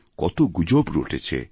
কত গুজব রটেছে